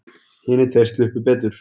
Hinir tveir sluppu betur.